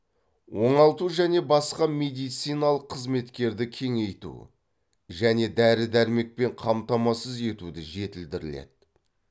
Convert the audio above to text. оңалту және басқа медициналық қызметтерді кеңейту және дәрі дәрмекпен қамтамасыз етуді жетілдіріледі